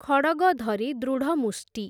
ଖଡ଼ଗ ଧରି ଦୃଢ଼ମୁଷ୍ଟି ।